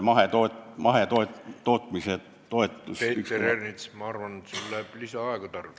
Peeter Ernits, ma arvan, et sul läheb lisaaega tarvis.